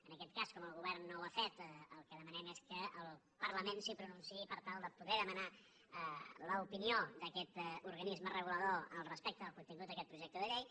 en aquest cas com que el govern no ho ha fet el que demanem és que el parlament s’hi pronunciï per tal de poder demanar l’opinió d’aquest organisme regulador respecte del contingut d’aquest projecte de llei